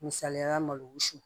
Misaliyala malo wusu